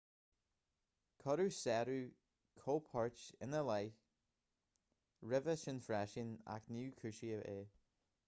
cuireadh sárú cóipchirt ina leith roimhe sin freisin ach níor cúisíodh é